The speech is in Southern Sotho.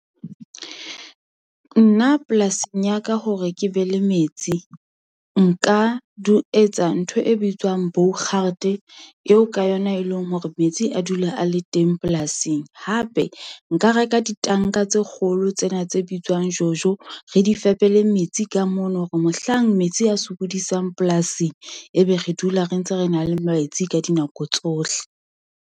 Nna polasing ya ka hore ke be le metsi, nka di etsa ntho e bitswang eo ka yona e leng hore metsi a dula a le teng polasing. Hape nka reka ditanka tse kgolo tsena tse bitswang jojo, re di fepele metsi ka mono hore mohlang metsi a sokodisang polasing ebe re dula re ntse re na le metsi ka dinako tsohle.